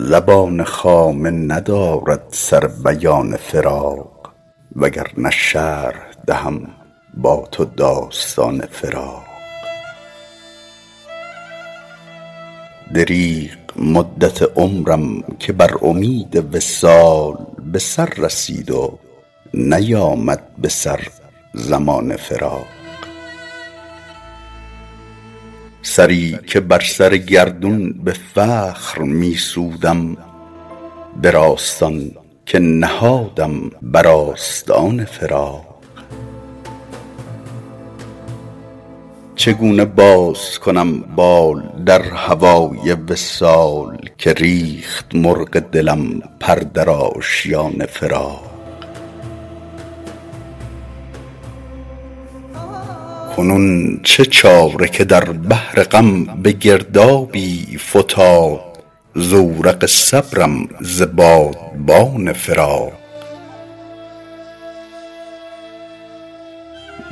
زبان خامه ندارد سر بیان فراق وگرنه شرح دهم با تو داستان فراق دریغ مدت عمرم که بر امید وصال به سر رسید و نیامد به سر زمان فراق سری که بر سر گردون به فخر می سودم به راستان که نهادم بر آستان فراق چگونه باز کنم بال در هوای وصال که ریخت مرغ دلم پر در آشیان فراق کنون چه چاره که در بحر غم به گردابی فتاد زورق صبرم ز بادبان فراق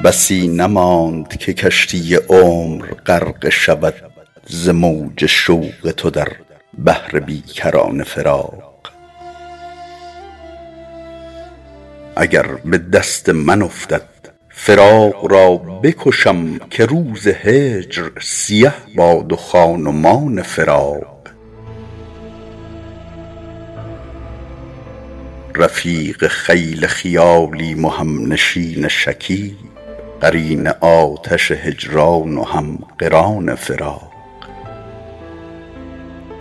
بسی نماند که کشتی عمر غرقه شود ز موج شوق تو در بحر بی کران فراق اگر به دست من افتد فراق را بکشم که روز هجر سیه باد و خان و مان فراق رفیق خیل خیالیم و همنشین شکیب قرین آتش هجران و هم قران فراق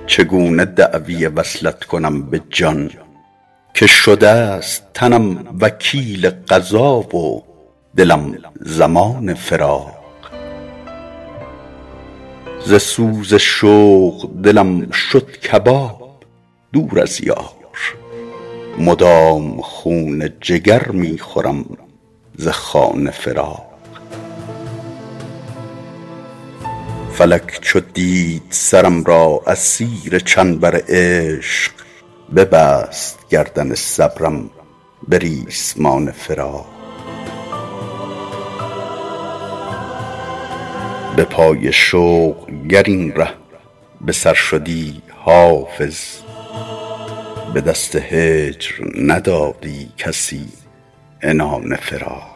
چگونه دعوی وصلت کنم به جان که شده ست تنم وکیل قضا و دلم ضمان فراق ز سوز شوق دلم شد کباب دور از یار مدام خون جگر می خورم ز خوان فراق فلک چو دید سرم را اسیر چنبر عشق ببست گردن صبرم به ریسمان فراق به پای شوق گر این ره به سر شدی حافظ به دست هجر ندادی کسی عنان فراق